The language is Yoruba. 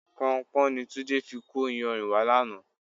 Pọnpọ́n ni Túndé fi kó iyanrìn wá lánàá.